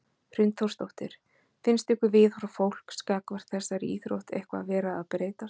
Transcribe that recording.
Hrund Þórsdóttir: Finnst ykkur viðhorf fólks gagnvart þessari íþrótt eitthvað vera að breytast?